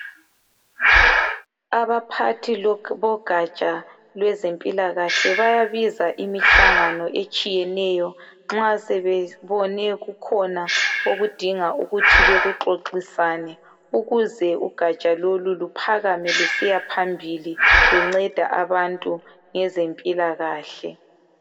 Abaphathi bogatsha lwezempilakahle bayabiza imihlangano etshiyeneyo nxa sebebone kukhona okudinga ukuthi bekuxoxisane ukuze ugatsha lolu luphakame lusiyaphambili lunceda abantu ngezempilakahle.